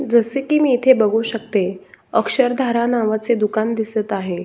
जसे की मी इथे बघू शकते अक्षर धारा नावाचे दुकान दिसत आहे.